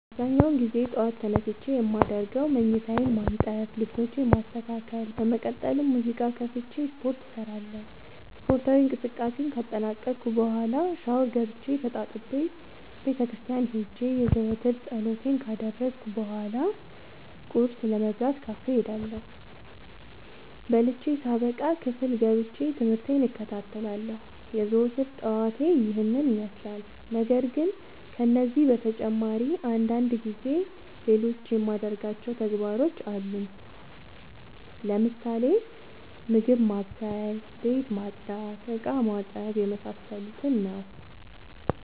አብዛኛውን ግዜ ጠዎት ተነስቼ የማደርገው መኝታዬን ማነጠፍ ልብሶቼን ማስተካከል በመቀጠልም ሙዚቃ ከፍቼ ስፓርት እሰራለሁ ስፓርታዊ እንቅስቃሴን ካጠናቀቅኩ በኋ ሻውር ገብቼ ተጣጥቤ ቤተክርስቲያን ሄጄ የዘወትር ፀሎቴን ካደረስኩ በሏ ቁርስ ለመብላት ካፌ እሄዳለሁ። በልቼ ሳበቃ ክፍል ገብቼ። ትምህርቴን እከታተላለሁ። የዘወትር ጠዋቴ ይህን ይመስላል። ነገርግን ከነዚህ በተጨማሪ አንዳንድ ጊዜ ሌሎቹ የማደርጋቸው ተግባሮች አሉኝ ለምሳሌ፦ ምግብ ማብሰል፤ ቤት መፅዳት፤ እቃማጠብ የመሳሰሉት።